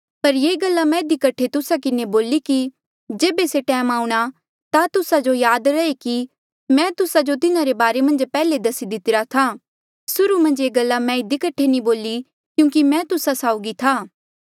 पर ये गल्ला मैं इधी कठे तुस्सा किन्हें बोली कि जेबे से टैम आऊंणा ता तुस्सा जो याद रहे कि मैं तुस्सा जो तिन्हारे बारे मन्झ पैहले दसी दितिरा था सुर्हू मन्झ ये गल्ला मैं इधी कठे नी बोली क्यूंकि मैं तुस्सा साउगी था